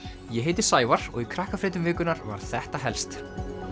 ég heiti Sævar og í vikunnar var þetta helst